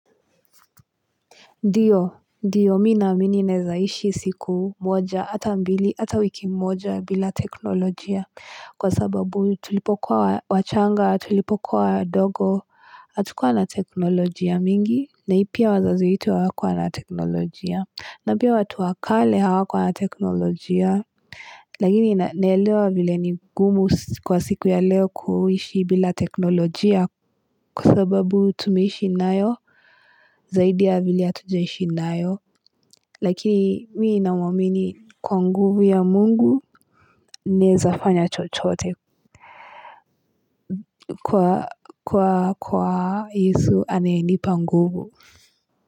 Ndiyo, mi naamini naeza ishi siku moja, ata mbili, ata wiki moja bila teknolojia. Kwa sababu tulipokuwa wachanga, tulipokuwa wadogo, hatukua na teknolojia mingi, na ipia wazazi wetu hawakua na teknolojia. Na pia watu wa kale hawakuwa na teknolojia, lakini naelewa vile ni gumu kwa siku ya leo kuishi bila teknolojia kwa sababu tumeishi nayo, zaidi ya vile hatujaishi nayo. Lakini mii namwamini kuwa nguvu ya mungu, naezafanya chochote kwa Yesu anayenipa nguvu.